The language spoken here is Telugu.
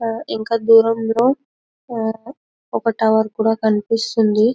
ఆహ్ ఇంకా దూరంలో ఒక టవర్ కూడా కనిపిస్తుంది .